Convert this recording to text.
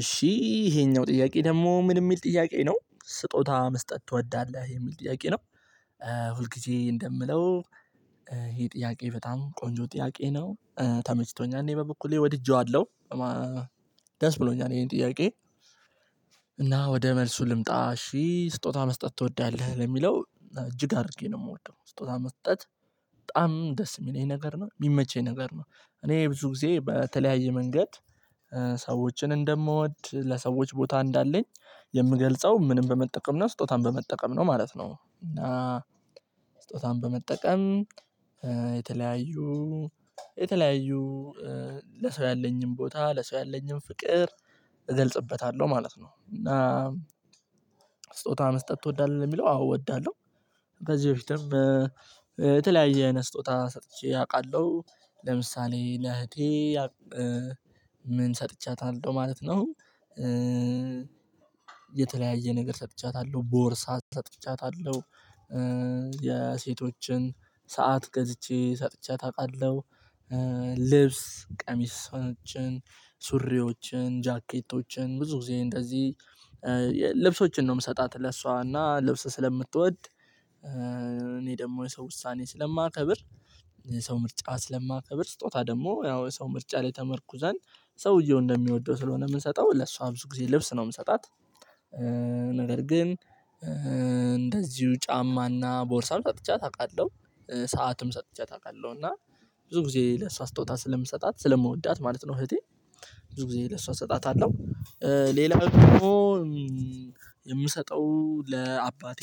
እሺ ይሄኛው ጥያቄ ደግሞ ምን የሚል ጥያቄ ነው ስጦታ መስጠት ትወዳለህ የሚል ጥያቄ ነው። ሁል ጊዜ እንደምለው ይሄ ጥያቄ በጣም ቆንጆ ጥያቄ ነው። ተመችቶኛል እኔ በበኩሌ ወድጄዋለሁ ደስ ብሎኛል ይሄን ጥያቄ። እና ወደ መልሱ ልምጣ እሺ ስጦታ መስጠት ትወዳለህ ለሚለው እጅግ አድርጌ ነው የምወደው ስጦታ መስጠት በጣም ደስ የሚለኝ ነገር ነው የሚመቸኝ ነገር ነው። እኔ ብዙ ጊዜ በተለያየ መንገድ ሰዎችን እንደምወድ ለሰዎች ቦታ እንዳለኝ የምገልጸው ምንን በመጠቀም ነው ስጦታን በመጠቀም ነው ማለት ነው። እና ስጦታን በመጠቀም የተለያዩ የተለያዩ ለሰው ያለኝን ቦታ ለሰው ያለኝን ፍቅር እገልጽበታለሁ ማለት ነው። እና ስጦታ መስጠት ትወዳለህ የሚለው አዎ እወዳለሁ። በዚህ በፊትም በተለያየ አይነት ስጦታ ሰጥቼ አውቃለሁ ለምሳሌ ለእህቴ ምን ሰጥቻታለሁ ማለት ነው። የተለያየ ነገር ሰጥቻታለሁ ቦርሳ ሰጥቻታለሁ የሴቶችን ሰዓት ገዝቼ ሰጥቻ አውቃለሁ። ልብስ ቀሚሶችን ሱሪዎችን ጃኬቶችን ብዙ ጊዜ እንደዚህ ልብሶችን ነው የምሰጣት ለሷ እና ልብስ ስለምትወድ እኔ ደግሞ የሰው ውሳኔ ስለማከብር የሰው ምርጫ ስለማከብር ስጦታ ደግሞ ያው የሰው ምርጫ ላይ ተመርኩ ዘንድ ሰውየው እንደሚወደው ስለሆነ የምንሰጠው ለሷ ብዙ ጊዜ ልብስ ነው የምሰጣት። ነገር ግን እንደዚሁ ጫማና ቦርሳም ሰጥቻ አውቃለሁ ሰዓትም ሰጥቻ አውቃለሁ እና ብዙ ጊዜ ለሷ ስጦታ ስለምሰጣት ስለምወዳት ማለት ነው። እህቴ ብዙ ለሷ እሰጣታለሁ ሌላ ደግሞ የምሰጠው ለአባቴ